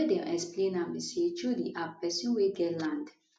di way dem explain am be say through di app pesin wey get land